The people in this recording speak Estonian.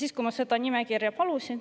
Ma palusin seda nimekirja.